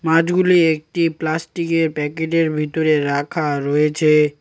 মাছগুলি একটি প্লাস্টিকের প্যাকেটের ভিতরে রাখা রয়েছে।